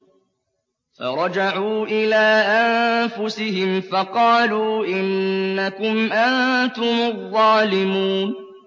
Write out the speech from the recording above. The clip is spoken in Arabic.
فَرَجَعُوا إِلَىٰ أَنفُسِهِمْ فَقَالُوا إِنَّكُمْ أَنتُمُ الظَّالِمُونَ